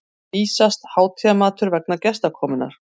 vísast hátíðarmatur vegna gestakomunnar.